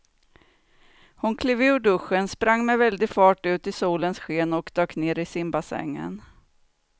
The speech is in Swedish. Hon klev ur duschen, sprang med väldig fart ut i solens sken och dök ner i simbassängen.